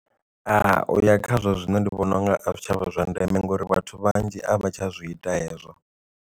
A uya khazwo zwino ndi vhona unga a zwitshavha zwa ndeme ngauri vhathu vhanzhi a vha tsha zwi ita hezwo.